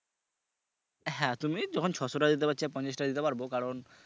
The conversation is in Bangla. হ্যাঁ তুমি যখন ছয়শ টাকা দিতে পারছ আর পঞ্ছাশ টাকা দিতে পারব কারন